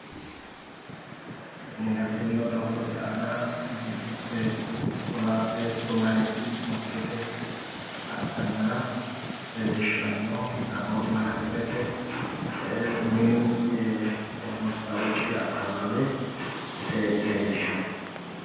Tinino doogote aana beetto meyaati motorete aana leellishanno. Taaboori mantsirete mini maastawoqi akawaawe ise leellishanno.